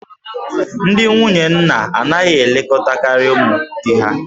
Ndị nwunye nna anaghị elekọtakarị ụmụ di ha